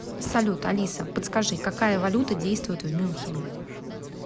салют алиса подскажи какая валюта действует в мюнхене